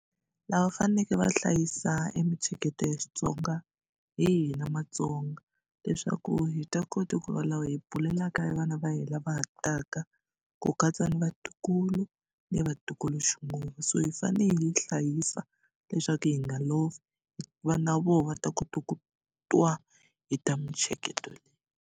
Lava va faneke va hlayisa e mitsheketo ya Xitsonga hi hina Matsonga leswaku hi ta kota ku va lava hi bulelaka vana va hina lava ha taka ku katsa ni vatukulu ni vatukuluxinguwe so hi fanele hi yi hlayisa leswaku hi nga lovi va na vona va ta kota ku twa hi ta mitsheketo leyi.